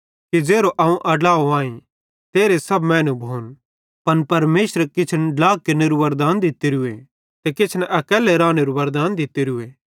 अवं इन चाताईं कि ज़ेरो अवं आड्लाव आई तेरहे सब मैनू भोन पन परमेशरे किछन ड्ला केरनू वरदान दित्तोरूए ते किछन अकैल्लू रानेरू वरदान दितोरू